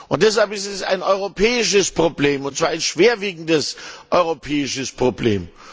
Und deshalb ist es ein europäisches Problem, und zwar ein schwerwiegendes europäisches Problem!